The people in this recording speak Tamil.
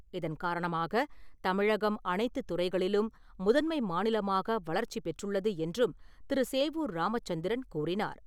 இதன் காரணமாக தமிழகம் அனைத்துத் துறைகளிலும் முதன்மை மாநிலமாக வளர்ச்சி பெற்றுள்ளது என்றும் திரு. சேவூர் ராமச்சந்திரன் கூறினார்.